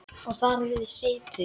Og þar við situr.